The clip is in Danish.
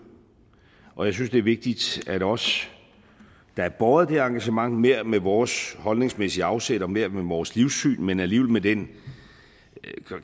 og jeg synes det er vigtigt at sige at os der er båret af det her engagement hver med vores holdningsmæssige afsæt og hver med vores livssyn men alligevel med den